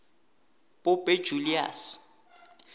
pope julius